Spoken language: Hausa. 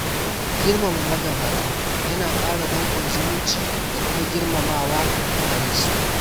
Girmama magabata yana ƙara danƙon zumunci da kuma girmamawa a gare su.